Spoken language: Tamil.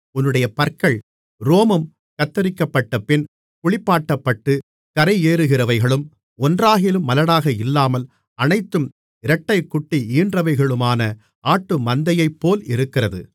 உன்னுடைய பற்கள் ரோமம் கத்தரிக்கப்பட்டபின் குளிப்பாட்டப்பட்டுக் கரையேறுகிறவைகளும் ஒன்றாகிலும் மலடாக இல்லாமல் அனைத்தும் இரட்டைக்குட்டி ஈன்றவைகளுமான ஆட்டுமந்தையைப்போல் இருக்கிறது